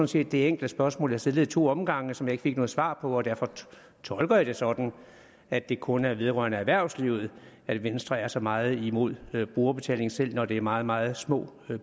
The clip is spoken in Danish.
set det enkle spørgsmål jeg stillede i to omgange som jeg ikke fik noget svar på og derfor tolker jeg det sådan at det kun er vedrører erhvervslivet at venstre er så meget imod brugerbetaling selv når det er meget meget små